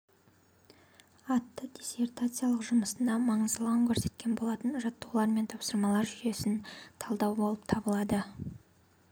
атты диссертациялық жұмысында маңыздылығын көрсеткен болатын жаттығулар мен тапсырмалар жүйесін талдау болып табылады